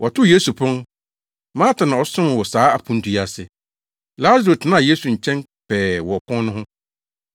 Wɔtoo Yesu pon. Marta na ɔsomee wɔ saa aponto yi ase. Lasaro tenaa Yesu nkyɛn pɛɛ wɔ ɔpon no ho.